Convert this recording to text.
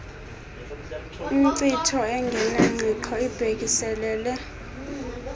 inkcitho engenangqiqo ibhekiselele